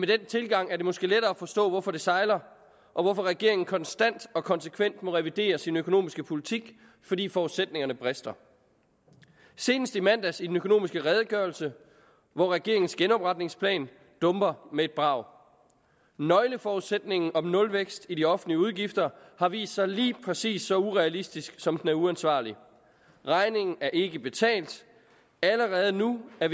den tilgang er det måske lettere at forstå hvorfor det sejler og hvorfor regeringen konstant og konsekvent må revidere sin økonomiske politik fordi forudsætningerne brister senest i mandags i den økonomiske redegørelse hvor regeringen dumper med et brag nøgleforudsætningen om nulvækst i de offentlige udgifter har vist sig lige præcis så urealistisk som den er uansvarlig regningen er ikke betalt allerede nu er